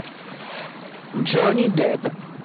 джонни депп